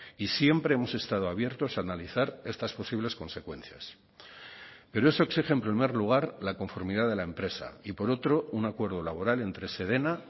y siempre hemos estado abiertos a analizar estas posibles consecuencias pero eso exige en primer lugar la conformidad de la empresa y por otro un acuerdo laboral entre sedena